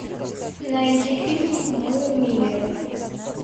найди фильм мы миллеры